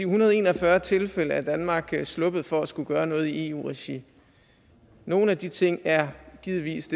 hundrede og en og fyrre tilfælde er danmark sluppet for at skulle gøre noget i eu regi nogle af de ting er givetvis